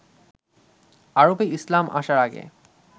আরবে ইসলাম আসার আগে